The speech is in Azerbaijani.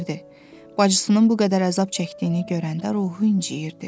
Bacısının bu qədər əzab çəkdiyini görəndə ruhu inciyirdi.